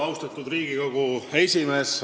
Austatud Riigikogu esimees!